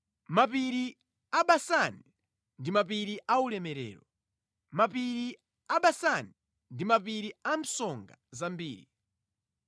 Mapiri a Basani ndi mapiri aulemerero; mapiri a Basani, ndi mapiri a msonga zambiri.